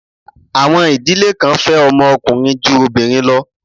Àwọn ìdílé kan fẹ́ ọmọ ọkùnrin ju obìnrin lọ.